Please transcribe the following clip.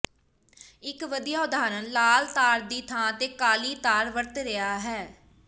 ਇੱਕ ਵਧੀਆ ਉਦਾਹਰਣ ਲਾਲ ਤਾਰ ਦੀ ਥਾਂ ਤੇ ਕਾਲੀ ਤਾਰ ਵਰਤ ਰਿਹਾ ਹੈ